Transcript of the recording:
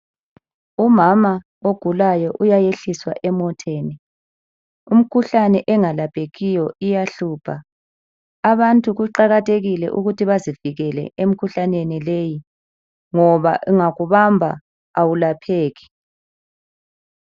Umama ogulayo uyayehliswa emoteni imkhuhlane engalaphekiyo iyahlupha, abantu kuqakathekile ukuthi bazivikele emkhuhlaneni leyi ngoba ungakubamba awulapheki.